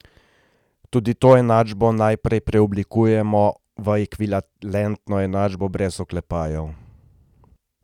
Tudi to enačbo najprej preoblikujemo v ekvivalentno enačbo brez oklepajev.